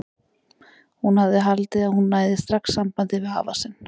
Hún hafði haldið að hún næði strax sambandi við afa sinn.